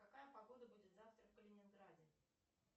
какая погода будет завтра в калининграде